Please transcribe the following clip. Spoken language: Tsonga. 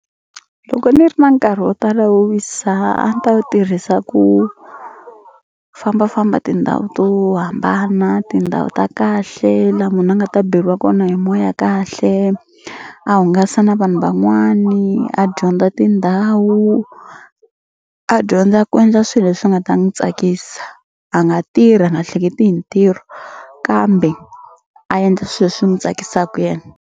Loko ni ri na nkarhi wo tala wo wisa a ni ta wu tirhisa ku fambafamba tindhawu to hambana tindhawu ta kahle la munhu a nga ta beliwa kona hi moya kahle a hungasa na vanhu van'wani a dyondza tindhawu a dyondza ku endla swi leswi nga ta n'wu tsakisa a nga tirha a nga hleketi hi ntirho kambe a endla swe swi n'wu tsakisaka yena.